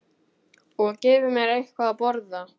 Og gefi mér eitthvað að borða.